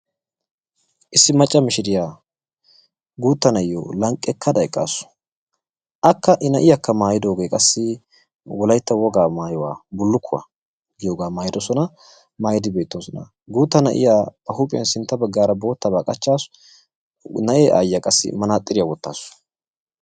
issi macca mishirya issi guutta na'iyo lanqakkada utaasu. na'ee aayiyakka qassi gita oyshaa oychawuisu. aka qassi bootaba maayada eqaasu.